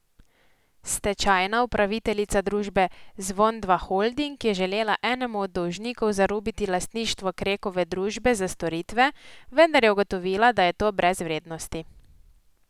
Stečajna upraviteljica družbe Zvon Dva Holding je želela enemu od dolžnikov zarubiti lastništvo Krekove družbe za storitve, vendar je ugotovila, da je to brez vrednosti.